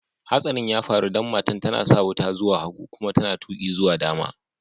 Hatsarin ya faru dan matan ta na sa wuta zuwa hagu kuma ta na tuki zuwa dama.